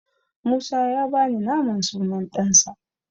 Musa ya bani naman sunan ɗansa.